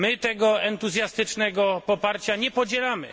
My tego entuzjastycznego poparcia nie podzielamy.